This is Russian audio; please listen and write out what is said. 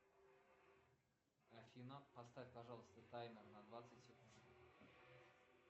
афина поставь пожалуйста таймер на двадцать секунд